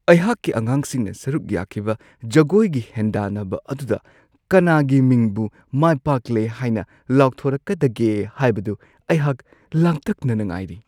ꯑꯩꯍꯥꯛꯀꯤ ꯑꯉꯥꯡꯁꯤꯡꯅ ꯁꯔꯨꯛ ꯌꯥꯈꯤꯕ ꯖꯒꯣꯏꯒꯤ ꯍꯦꯟꯗꯥꯟꯅꯕ ꯑꯗꯨꯗ ꯀꯅꯥꯒꯤ ꯃꯤꯡꯕꯨ ꯃꯥꯏꯄꯥꯛꯂꯦ ꯍꯥꯏꯅ ꯂꯥꯎꯊꯣꯔꯛꯀꯗꯒꯦ ꯍꯥꯏꯕꯗꯨ ꯑꯩꯍꯥꯛ ꯂꯥꯡꯇꯛꯅꯅ ꯉꯥꯏꯔꯤ꯫